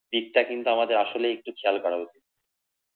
দিকটা কিন্তু আমাদের আসলে একটু খেয়াল করা উচিত